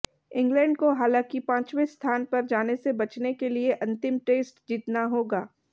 England को हालांकि पांचवें स्थान पर जाने से बचने के लिये अंतिम टेस्ट जीतना होगा